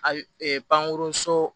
Ayi pankurun so